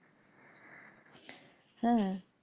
হ্যাঁ,